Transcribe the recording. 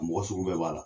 A mɔgɔ sugu bɛɛ b'a la